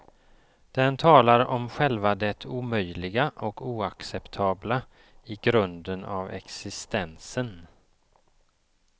Den talar om själva det omöjliga och oacceptabla i grunden av existensen.